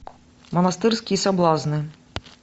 монастырские соблазны